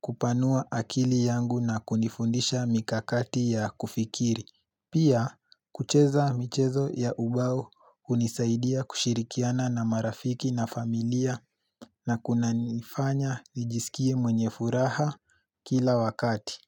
kupanua akili yangu na kunifundisha mikakati ya kufikiri. Pia, kucheza michezo ya ubao hunisaidia kushirikiana na marafiki na familia na kunanifanya nijisikie mwenye furaha kila wakati.